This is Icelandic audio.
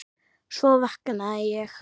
Svo vaknaði ég.